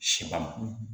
Sɛ ban